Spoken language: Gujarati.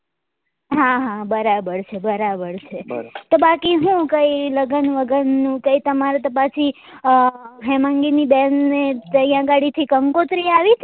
હા હા બરાબર છે બરાબર છે તો બાકી હું કાઈ લગન વગન નું કઈ તમારે તો પાછુ હેમાંગી ની બેન ને ત્યાં ગાડી થી કંકોત્રી આવી હતી?